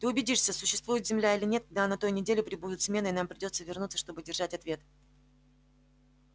ты убедишься существует земля или нет когда на той неделе прибудет смена и нам придётся вернуться чтобы держать ответ